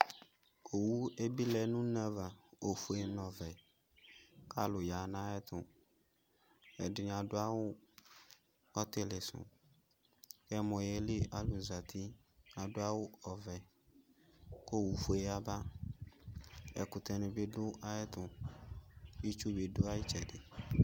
Owʊ ebɩlɛ nʊ une efʊe nʊ ɔvɛ kʊ alʊ yanʊ ayʊ ɛtʊ ɛdɩnɩ adʊ awʊ ɔtɩlɩsʊ ɛmɔ yeli alʊ zatɩ adʊ awʊ ɔvɛ kʊ owʊ fuɛ yaba ɛkʊtɛnɩ bɩ dʊ ayʊ ɛtʊ itsʊ bɩ dʊ ayʊ ɩtsɛdɩ